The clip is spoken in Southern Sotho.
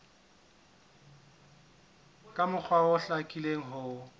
ka mokgwa o hlakileng ho